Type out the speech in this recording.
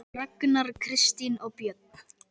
Ragnar, Kristín og börn.